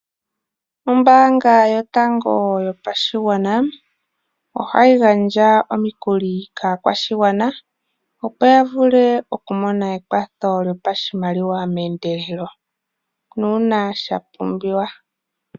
Ombaanga yotango yopashigwana, oha yi gandja omikuli kaakwashigwana opo ya vule okumona ekwatho lyopashimaliwa meendelelo, uuna sha pumbiwa.